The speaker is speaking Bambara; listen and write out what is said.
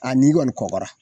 ni kɔni kɔgɔra